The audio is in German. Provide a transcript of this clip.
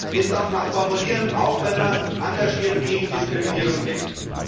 Das darf man formulieren, auch wenn man engagiert gegen Diskriminierung kämpft.